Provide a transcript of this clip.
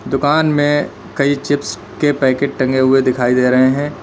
दुकान में कई चिप्स के पैकेट टंगे हुए दिखाई दे रहे हैं।